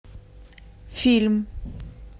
фильм